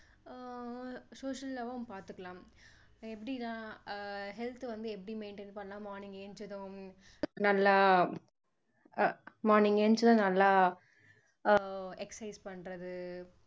ஆஹ் social லாவும் பாத்துக்கலாம் எப்படிலாம் ஆஹ் health வந்து எப்படி maintain பண்ணலாம் morning எழுந்ததும் நல்லா அஹ் morning எழுந்ததும் நல்லா ஆஹ் exercise பண்றது